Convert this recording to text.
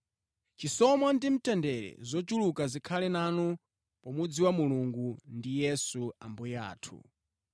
Chisomo ndi mtendere zochuluka zikhale nanu pomudziwa Mulungu ndi Yesu Ambuye athu.